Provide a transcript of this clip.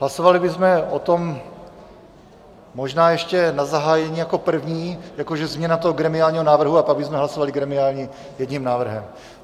Hlasovali bychom o tom možná ještě na zahájení jako první, jakože změna toho gremiálního návrhu, a pak bychom hlasovali gremiální jedním návrhem.